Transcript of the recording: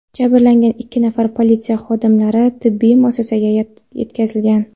Jabrlangan ikki nafar politsiya xodimlari tibbiy muassasaga yetkazilgan.